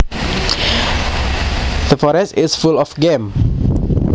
The forest is full of game